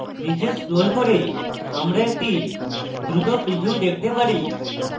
নীচে scroll করলে আমরা একটি দ্রুত preview দেখতে পারি